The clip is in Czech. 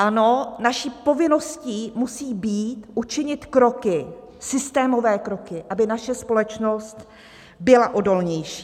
Ano, naší povinností musí být učinit kroky, systémové kroky, aby naše společnost byla odolnější.